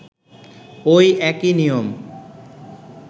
ঐ একই নিয়ম